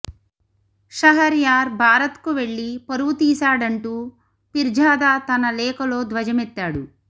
షహర్యార్ భారత్కు వెళ్లి పరువు తీశాడంటూ పిర్జాదా తన లేఖలో ధ్వజమెత్తాడు